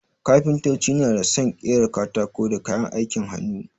Kafintoci na dā sun ƙera katako da kayan aikin hannu.